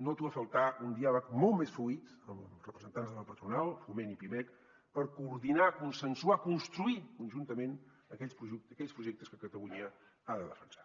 noto a faltar un diàleg molt més fluid amb representants de la patronal foment i pimec per coordinar consensuar construir conjuntament aquells projectes que catalunya ha de defensar